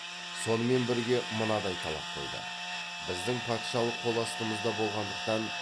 сонымен бірге мынадай талап қойды біздің патшалық қоластымызда болғандықтан